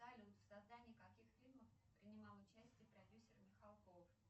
салют в создании каких фильмов принимал участие продюсер михалков